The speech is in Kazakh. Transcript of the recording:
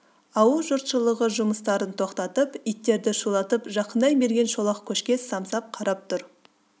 ауыл жұртшылығы жұмыстарын тоқтатып иттерді шулатып жақындай берген шолақ көшке самсап қарап тұр